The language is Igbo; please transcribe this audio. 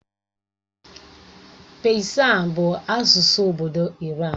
Pesian bụ asụsụ obodo Iran.